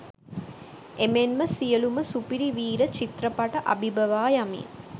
එමෙන්ම සියලුම සුපිරි වීර චිත්‍රපට අභිබවා යමින්